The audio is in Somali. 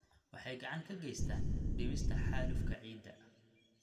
Waxay gacan ka geystaan ??dhimista xaalufka ciidda.